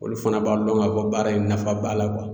Olu fana b'a dɔn ka fɔ baara in nafa b'a la